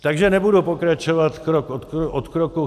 Takže nebudou pokračovat krok od kroku.